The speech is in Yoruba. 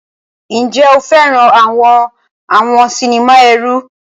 Ǹjẹ́ o fẹ́ràn àwọn àwọn sinimá ẹ̀rù?